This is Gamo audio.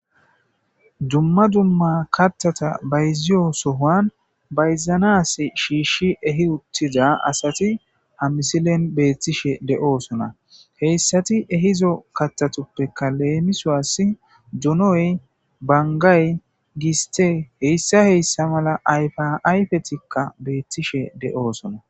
Dumma dumma kathatha bayziyo sohan kathatha bayzanas shishi ehiutidi ha missilen bethossona. Heysathu ehida kathathupeka lemsuwas donoy, bangayi gisthe heyssa heyssa mala ayfethika bethishe deosonna.